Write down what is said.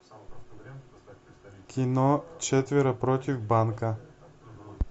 кино четверо против банка